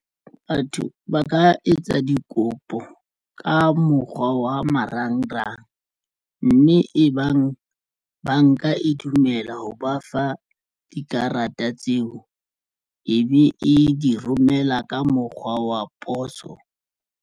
Batho ba ka etsa dikopo ka mokgwa wa marangrang mme e bang banka e dumela ho ba fa. Dikarata tseo e be e di romela ka mokgwa wa poso.